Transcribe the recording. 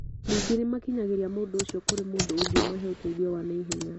Ningĩ nĩ makinyagĩria mũndũ ũcio kũrĩ mũndũ ũngĩmahe ũteithio wa naihenya.